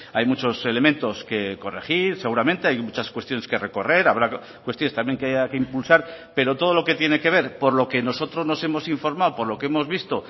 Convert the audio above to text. hay muchos elementos que corregir seguramente hay muchas cuestiones que recorrer habrá cuestiones también que haya que impulsar pero todo lo que tiene que ver por lo que nosotros nos hemos informado por lo que hemos visto